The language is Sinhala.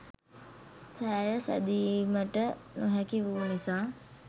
සෑය සෑදීමට නොහැකි වූ නිසා